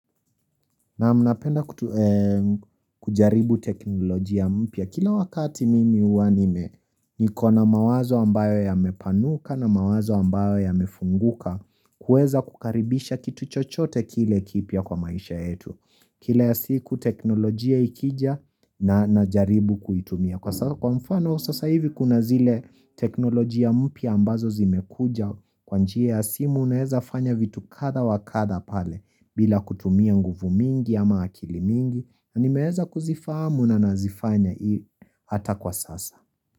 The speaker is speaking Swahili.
Na mnapenda kujaribu teknolojia mpya. Kila wakati mimi huwa nime niko na mawazo ambayo yamepanuka na mawazo ambayo yamefunguka kuweza kukaribisha kitu chochote kile kipya kwa maisha yetu. Kila siku teknolojia ikija na jaribu kuitumia Kwa mfano sasa hivi kuna zile teknolojia mpya ambazo zimekuja Kwa njia ya simu unaweza fanya vitu kadha wa kadha pale bila kutumia nguvu mingi ama akili mingi na nimeweza kuzifamu na nazifanya hata kwa sasa.